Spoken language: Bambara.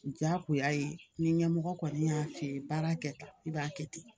Jagoya ye ni ɲɛmɔgɔ kɔni y'a f'i ye baara kɛ tan i b'a kɛ ten